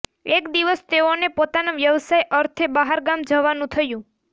એક દિવસ તેઓને પોતાના વ્યવસાય અર્થે બહારગામ જવાનું થયું